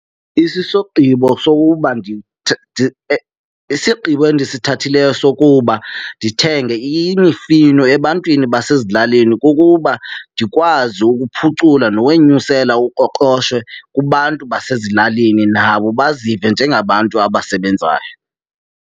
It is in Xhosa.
sokuba isigqibo endisithathileyo sokuba ndithenge imifino ebantwini basezilalini kukuba ndikwazi ukuphucula nokwenyusela uqoqosho kubantu basezilalini, nabo bazive njengabantu abasebenzayo.